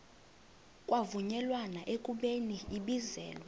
kwavunyelwana ekubeni ibizelwe